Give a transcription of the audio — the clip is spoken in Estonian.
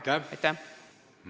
Aitäh!